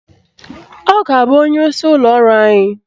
Ọ ga-abụ onyeisi ụlọ ọrụ anyị